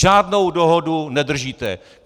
Žádnou dohodu nedržíte!